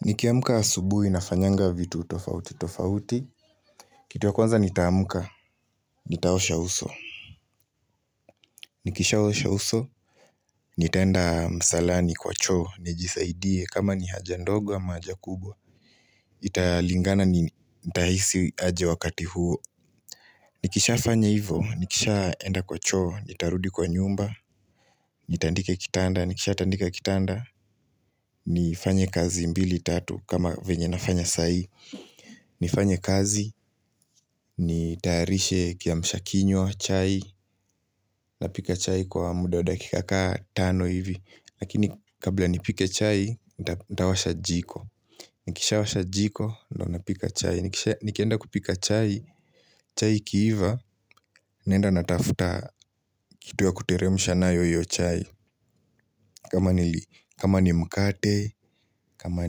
Nikiamka asubuhi nafanyanga vitu tofauti tofauti. Kitu ya kwanza nitaamka nitaosha uso. Nikishaa osha uso nitaenda msalani kwa choo nijisaidie kama ni haja ndogo ama haja kubwa. Italingana nitahisi aje wakati huo nikisha fanya hivo nikishaaenda kwa choo nitarudi kwa nyumba nitandike kitanda nikisha tandika kitanda. Nifanye kazi mbili tatu kama venye nafanya sai. Nifanye kazi nitayarishe kiamsha kinywa, chai. Napika chai kwa muda wa dakika kaa tano hivi. Lakini kabla nipike chai, ntawasha jiko. Nikishaa washa jiko, ndo napika chai. Nikienda kupika chai, chai ikiiva. Naenda natafuta kitu ya kuteremsha nayo hio chai. Kama ni mkate, kama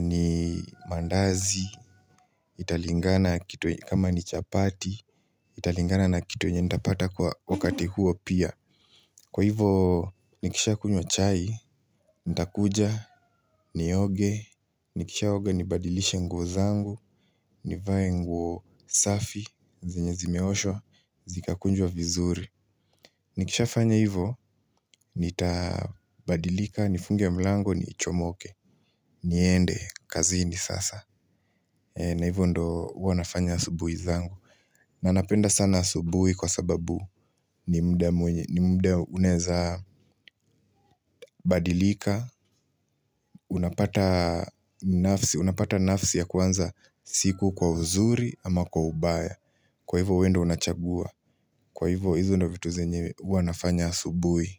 ni mandazi. Italingana kitu kama ni chapati. Italingana na kitu yenye nitapata kwa wakati huo pia. Kwa hivo nikisha kunywa chai. Nitakuja nioge. Nikishaa oga nibadilishe nguo zangu. Nivae nguo safi zenye zimeoshwa zikakunjwa vizuri. Nikishaa fanya hivo nitabadilika, nifunge mlango, nichomoke. Niende kazini sasa. Na hivo ndo huwa nafanya asubuhi zangu. Na napenda sana asubuhi kwa sababu ni mda uneza badilika. Unapata nafsi ya kuanza siku kwa uzuri ama kwa ubaya. Kwa hivo we ndio unachagua. Kwa hivo hizo ndo vitu zenye huwa nafanya asubuhi.